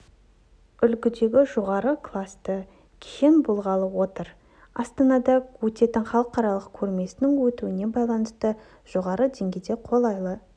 үлгідегі жоғары класты кешен болғалы отыр астанада өтетін халықаралық көрмесінің өтуіне байланысты жоғары деңгейдегі қолайлы